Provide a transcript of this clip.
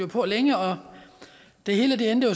på længe og det hele endte